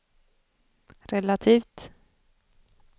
relativt